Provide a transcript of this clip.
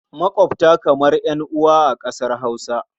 Maƙwabta kamar ƴan'uwa a ƙasar Hausa.